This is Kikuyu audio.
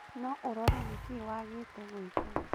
Na ũrore nĩkĩĩ waagĩte gwĩka